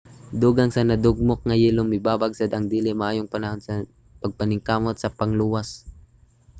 dugang sa nadugmok nga yelo mibabag sad ang dili maayong panahon sa mga pagpaningkamot sa pagluwas